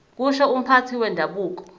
kusho umphathi wendabuko